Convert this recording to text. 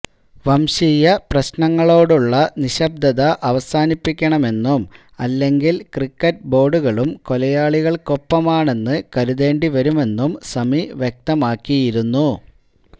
വംശീയ പ്രശ്നങ്ങളോടുള്ള നിശബ്ദത അവസാനിപ്പിക്കണമെന്നും അല്ലെങ്കില് ക്രിക്കറ്റ് ബോര്ഡുകളും കൊലയാളികള്ക്കൊപ്പമാണെന്ന് കരുതേണ്ടി വരുമെന്നും സമി വ്യക്തമാക്കിയിരുന്നു